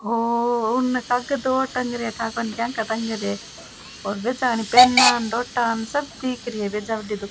ओ ओ उनने कागज और टंग रिया है ठा कोनी के का टंग रिया है और सब दिख रिया है भेजा बढ़ी दू --